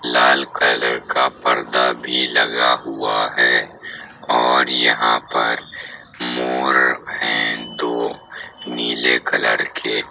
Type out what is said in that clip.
लाल colour का पर्दा भी लगा हुआ है और यहाँ पर मोर हैं दो नीले कलर के।